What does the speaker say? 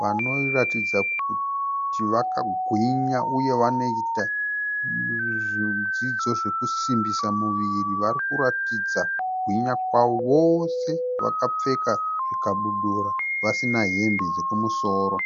Vanoratidza kuti vakagwinya uye vanoita zvidzidzo zvekusimbisa muviri. Varikuratidza kugwinya kwavo vose vakapfeka zvikabudura vasina hembe dzokumusoro.